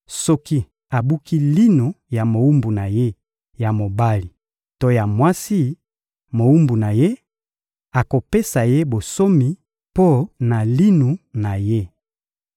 Soki abuki linu ya mowumbu na ye ya mobali to ya mwasi mowumbu na ye, akopesa ye bonsomi mpo na linu na ye.